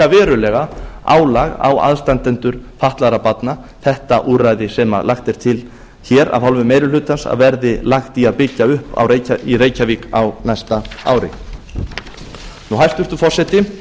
verulega álag á aðstandendur fatlaðra barna þetta úrræði sem lagt er til hér af hálfu meiri hlutans að verði lagt í að byggja upp í reykjavík á næsta ári hæstvirtur forseti